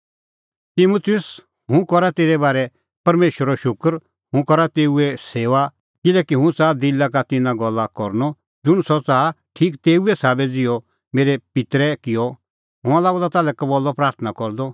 तिमुतुस हुंह करा तेरै बारै परमेशरो शूकर हुंह करा तेऊए सेऊआ किल्हैकि हुंह च़ाहा दिला का तिन्नां गल्ला करनअ ज़ुंण सह च़ाहा ठीक तेऊ ई साबै ज़िहअ मेरै पित्तरै किअ हुंह हआ लागअ द कबल्लअ ताल्है प्राथणां करदअ